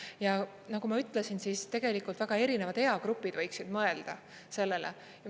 Ja nagu ma ütlesin, siis tegelikult väga erinevad eagrupid võiksid mõelda sellele.